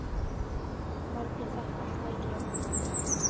Hvernig þetta færi.